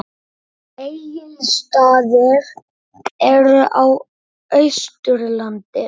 Egilsstaðir eru á Austurlandi.